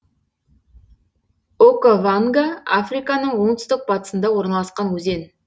окаванга африканың оңтүстік батысында орналасқан өзен